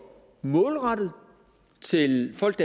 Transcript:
målrettet til folk